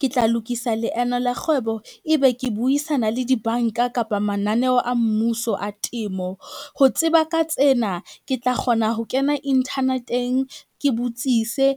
Ke tla lokisa leeno la kgwebo, ebe ke buisana le dibanka kapa mananeo a mmuso a temo. Ho tseba ka tsena, ke tla kgona ho kena internet-eng, ke botsise